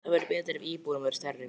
Það væri betra ef íbúðin væri stærri.